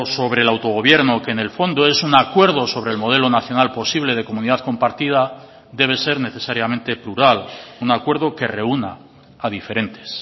sobre el autogobierno que en el fondo es un acuerdo sobre el modelo nacional posible de comunidad compartida debe ser necesariamente plural un acuerdo que reúna a diferentes